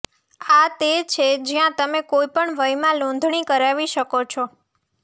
આ તે છે જ્યાં તમે કોઈપણ વયમાં નોંધણી કરાવી શકો છો